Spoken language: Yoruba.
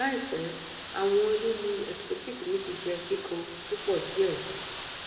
laipẹ awọn lilu ectopic mi ti jẹ kikan pupọ diẹ sii